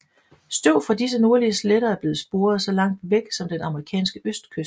Støv fra disse nordlige sletter er blevet sporet så langt væk som den amerikanske østkyst